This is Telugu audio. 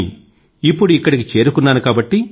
కానీ ఇప్పుడిక్కడికి చేరుకున్నాను